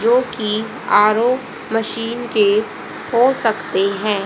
जो कि R O machine के हो सकते हैं।